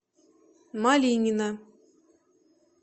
малинина